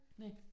Næh